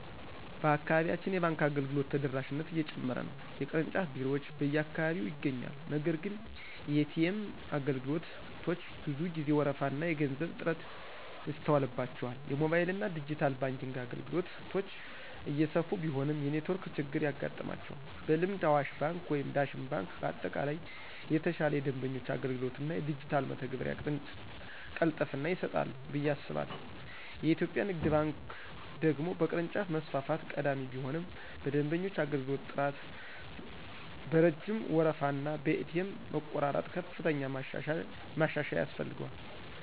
በአካባቢያችን የባንክ አገልግሎቶች ተደራሽነት እየጨመረ ነው። የቅርንጫፍ ቢሮዎች በየአካባቢው ይገኛሉ፤ ነገር ግን የኤ.ቲ.ኤም አገልግሎቶች ብዙ ጊዜ ወረፋና የገንዘብ እጥረት ይስተዋልባቸዋል። የሞባይልና ዲጂታል ባንኪንግ አገልግሎቶች እየሰፉ ቢሆንም የኔትወርክ ችግር ያጋጥማቸዋል። በልምድ አዋሽ ባንክ ወይም ዳሽን ባንክ በአጠቃላይ የተሻለ የደንበኞች አገልግሎት እና የዲጂታል መተግበሪያ ቅልጥፍና ይሰጣሉ ብዬ አስባለሁ። የኢትዮጵያ ንግድ ባንክ ደግሞ በቅርንጫፍ መስፋፋት ቀዳሚ ቢሆንም በደንበኞች አገልግሎት ጥራት፣ በረጅም ወረፋና በኤ.ቲ.ኤም መቆራረጥ ከፍተኛ ማሻሻያ ያስፈልገዋል።